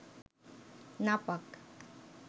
নাপাক